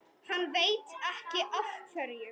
Hann veit ekki af hverju.